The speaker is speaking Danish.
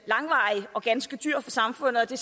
langvarig og ganske dyr for samfundet og det